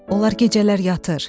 Onlar gecələr yatır.